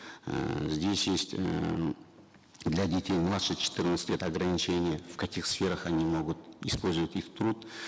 эээ здесь есть эээ для детей младше четырнадцати лет ограничение в каких сферах они могут использовать их труд